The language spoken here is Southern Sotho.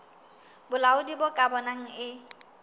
bolaodi bo ka bonang e